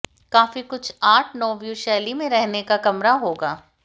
काफी कुछ art nouveau शैली में रहने का कमरा होगा